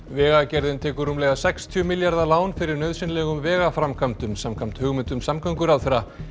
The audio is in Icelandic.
vegagerðin tekur rúmlega sextíu milljarða lán fyrir nauðsynlegum vegaframkvæmdum samkvæmt hugmyndum samgönguráðherra